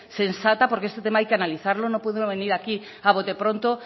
sensata porque este tema hay que analizarlo no puede uno venir aquí a botepronto